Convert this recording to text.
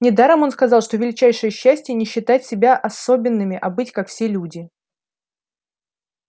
недаром он сказал что величайшее счастье не считать себя особенным а быть как все люди